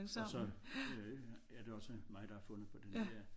Og så øh er det også mig der har fundet på det der